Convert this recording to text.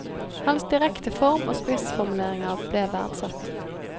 Hans direkte form og spissformuleringer ble verdsatt.